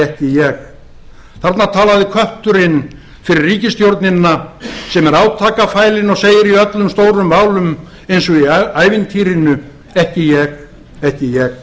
ekki ég þarna talaði kötturinn fyrir ríkisstjórnina sem er átakafælin og segir í öllum stórum málum eins og í ævintýrinu ekki ég ekki ég